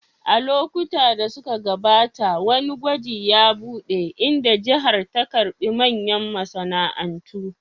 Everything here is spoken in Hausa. A lokuta da suka gabata, wani gwaji ya buɗe, inda jihar ta karɓi manyan masana'antu